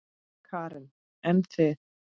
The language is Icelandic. Karen: En þið?